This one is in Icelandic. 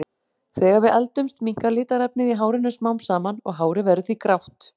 Þegar við eldumst minnkar litarefnið í hárinu smám saman og hárið verður því grátt.